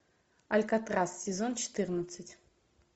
алькатрас сезон четырнадцать